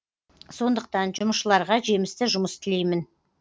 сондықтан жұмысшыларға жемісті жұмыс тілеймін